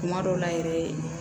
Kuma dɔw la yɛrɛ